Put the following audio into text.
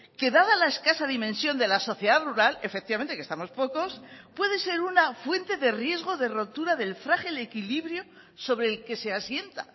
que dada la escasa dimensión de la sociedad rural efectivamente que estamos pocos puede ser una fuente de riesgo de rotura del frágil equilibrio sobre el que se asienta